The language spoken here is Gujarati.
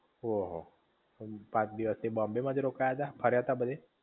ઓહો! પાંચ દિવસ થી બોમ્બે માં જ રોકાયા તા બધે ફર્યા તા બધે?